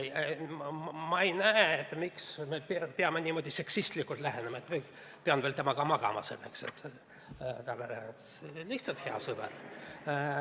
Ma ei näe, miks me peaksime niimoodi seksistlikult lähenema, et ma pean veel temaga magama ka, ta on lihtsalt hea sõber.